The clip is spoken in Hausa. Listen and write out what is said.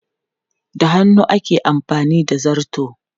Da hannu ake amfani da zarto.